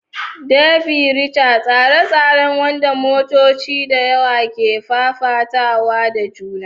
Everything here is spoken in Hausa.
Derby racer: tseren tsere wanda motoci da yawa ke fafatawa da juna.